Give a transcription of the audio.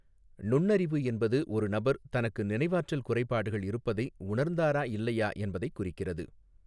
நுண்ணறிவு என்பது ஒரு நபர் தனக்கு நினைவாற்றல் குறைபாடுகள் இருப்பதை உணர்ந்தாரா இல்லையா என்பதைக் குறிக்கிறது.